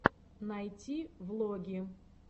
найти влоги